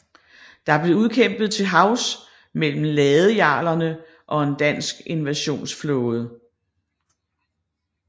Det blev udkæmpet til havs mellem ladejarlerne og en dansk invasionsflåde